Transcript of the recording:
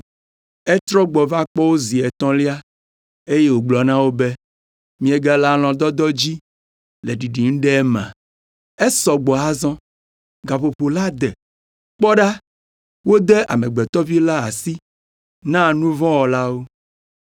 Etrɔ gbɔ va wo gbɔ zi etɔ̃lia eye wògblɔ na wo be, “Miegale alɔ̃dɔdɔ dzi le ɖiɖim ɖe emea? Esɔ gbɔ azɔ! Gaƒoƒo la de. Kpɔ ɖa, wode Amegbetɔ Vi la asi na nu vɔ̃ wɔlawo.